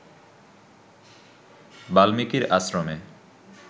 বাল্মীকির আশ্রমে